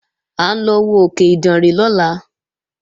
À ń lọ wo òkè Ìdànrè lọ́la